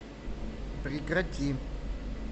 прекрати